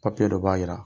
Papiye dɔ b'a jira